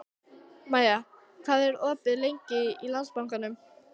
Maja, hvað er opið lengi í Landsbankanum?